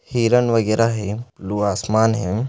हिरन वगैरह है ब्लू आसमान है।